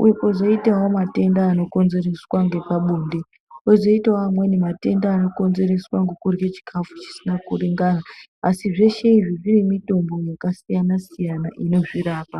Uye pozoitawo metanda anokonzereswa ngepabonde. Kozoitawo mamwe amweni matenda anokonzereswa ngokudya chikafu chisina kuringana. Asi zveshe izvi zvinemitombo yakasiyana siyana inozvirapa.